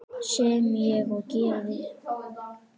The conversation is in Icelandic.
Sem ég og gerði.